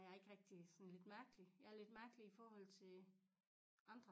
Jeg ikke rigtig sådan ldit mærkelig jeg lidt mærkelig i forhold til andre